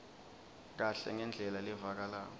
kahle ngendlela levakalako